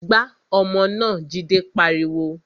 Gbá ọmọ náà! Jide pariwo